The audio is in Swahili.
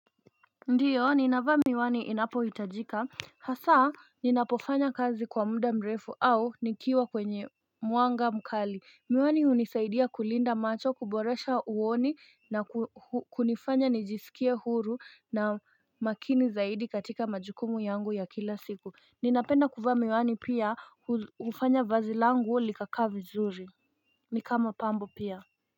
Ndiyo, ninavaa miwani inapo hitajika. Hasa, ninapofanya kazi kwa muda mrefu au nikiwa kwenye muanga mkali. Miwani unisaidia kulinda macho kuboresha uoni na kunifanya nijisikie huru na makini zaidi katika majukumu yangu ya kila siku. Ninapenda kuvaa miwani pia kufanya vazilangu likaka vizuri. Ni kama pambo pia.